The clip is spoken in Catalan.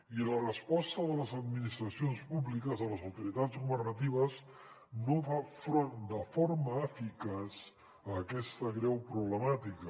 i la resposta de les administracions públiques de les autoritats governatives no fa front de forma eficaç a aquesta greu problemàtica